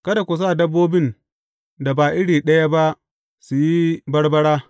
Kada ku sa dabbobin da ba iri ɗaya ba su yi barbara.